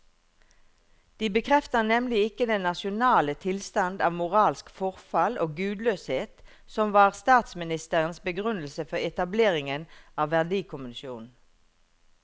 De bekrefter nemlig ikke den nasjonale tilstand av moralsk forfall og gudløshet som var statsministerens begrunnelse for etableringen av verdikommisjonen.